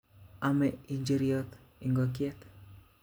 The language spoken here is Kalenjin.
Ome njir'yot ikokyet